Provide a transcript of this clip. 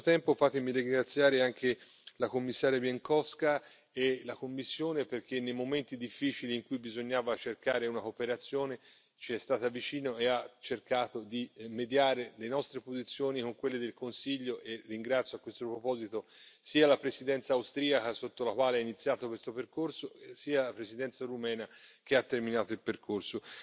Allo stesso tempo, fatemi ringraziare anche la Commissaria Bieńkowska e la Commissione, perché nei momenti difficili in cui bisognava cercare una cooperazione ci è stata vicino e ha cercato di mediare le nostre posizioni con quelle del Consiglio e ringrazio, a questo proposito, sia la Presidenza austriaca, sotto la quale ho iniziato questo percorso, sia la Presidenza rumena che ha terminato il percorso.